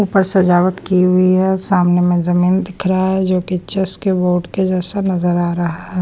ऊपर सजावट की हुई है सामने में जमीन दिख रहा है जो कि चेस के बोर्ड के जैसा नजर आ रहा है।